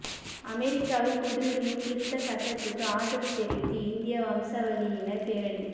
அமெரிக்காவில் குடியுரிமை திருத்த சட்டத்துக்கு ஆதரவு தெரிவித்து இந்திய வம்சாவளியினர் பேரணி